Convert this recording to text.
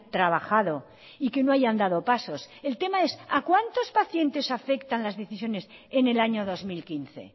trabajado y que no hayan dado pasos el tema es aa cuántos pacientes afectan las decisiones en el año dos mil quince